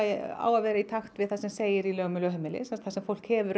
á að vera í takt við það sem segir í lögunum um lögheimili sem sagt þar sem fólk hefur